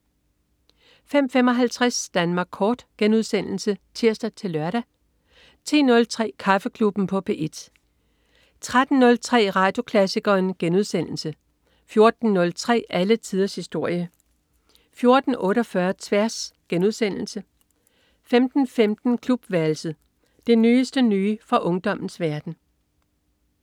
05.55 Danmark kort* (tirs-lør) 10.03 Kaffeklubben på P1 13.03 Radioklassikeren* 14.03 Alle tiders historie 14.48 Tværs* 15.15 Klubværelset. Det nyeste nye fra ungdommens verden